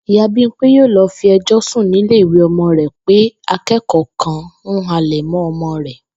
Ìyá Bímpé yóò lo̩ fi e̩jò̩ sùn nílé ìwé o̩mo̩ rè̩ pé aké̩kò̩ó̩ kan ń halè̩ mó̩ o̩mo̩ rè̩